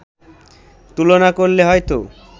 তুলনা করলে হয়তো